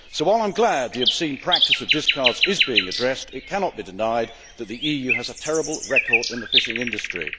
So while I am glad that the obscene practice of discards is being addressed, it cannot be denied that the EU has a terrible record in the fishing industry.